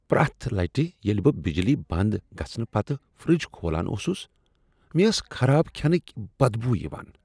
پرٛیتھ لٹہ ییٚلہ بہٕ بجلی بنٛد گژھنہٕ پتہٕ فِرج کھولان اوسس، مےٚ ٲس خراب کھینک بد بو یوان۔